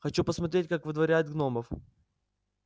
хочу посмотреть как выдворяют гномов